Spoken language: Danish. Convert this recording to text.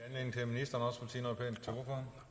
jo